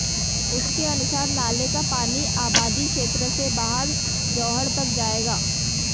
उनके अनुसार नाले का पानी आबादी क्षेत्र से बाहर जोहड़ तक जाएगा